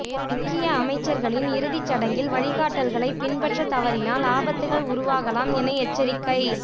முக்கிய அமைச்சர்களின் இறுதிசடங்கில் வழிகாட்டல்களை பின்பற்ற தவறினால் ஆபத்துக்கள் உருவாகலாம் என எச்சரிக்கை